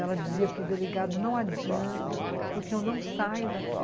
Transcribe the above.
Ela dizia para o delegado, não adianta, porque eu não saio daqui.